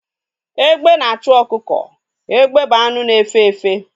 Egbe na-achụ ọkụkọ. Egbe bụ anụ na-efe efe